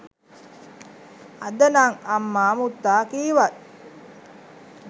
අදනම් අම්මා මුත්තා කීවත්